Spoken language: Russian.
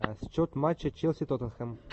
счет матча челси тоттенхэм